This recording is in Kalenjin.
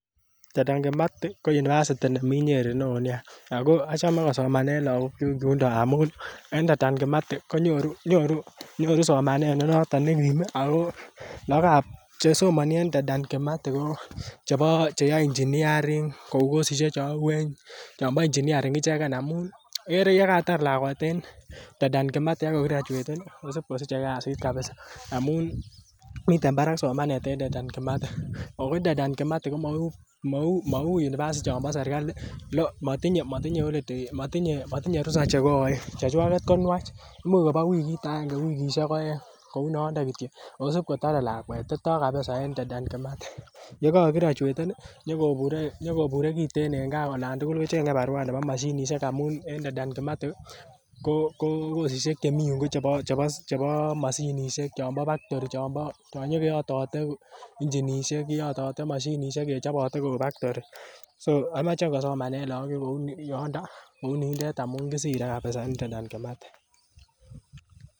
Dedan Kimathi ko University nemi Nyeri neoo nea. Ko achame kosomanen lakok kyuk yundon ngamuun Dedan Kimathi konyoru somanet negim Ako laakab chesomani en Dedan Kimathi ko chebo cheyae Engineering kosisike chanuen cheuu Engineering en Dedan Kimathi ak ko kokirachueten ih amun miten barak somanet en Dedan Kimathi amuun mauu University chon bo serkali matinye rusa chekaen , chechwageet ko nuach imuch koba wikit aenge anan ko wikishek aeng yekakirachueten nyokobure kiten en kaa akicheng kibarua nekiten amun ko kosishek chemii ko bo mashinisiek ih chonbo baktori chon inyokoyatate inchinisiek akeyatate kouu baktori komache kosomanen lak kouu yundon ngamuun kisire en Dedan Kimathi